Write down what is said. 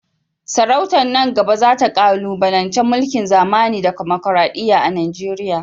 Sarautar nan gaba za ta kalubalanci mulkin zamani da dimokuradiyya a Najeriya.